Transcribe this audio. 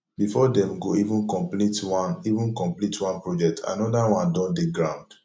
before dem go even komplete one even komplete one project anoda one don dey ground